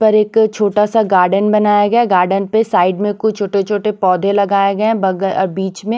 पर एक छोटा सा गार्डन बनाया गया गार्डन पर साइड में कुछ छोटे-छोटे पौधे लगाए गए हैं बगल बीच में--